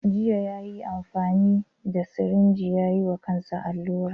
Jiya yayi amfani da sirinji ya yiwa kansa allura.